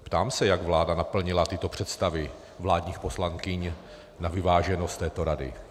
Ptám se, jak vláda naplnila tyto představy vládních poslankyň na vyváženost této rady.